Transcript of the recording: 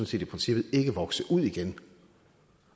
set i princippet ikke vokse ud igen